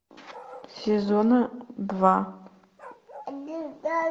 сезона два